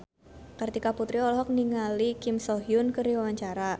Kartika Putri olohok ningali Kim So Hyun keur diwawancara